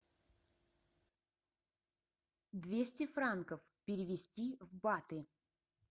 двести франков перевести в баты